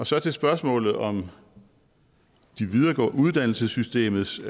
så til spørgsmålet om uddannelsessystemets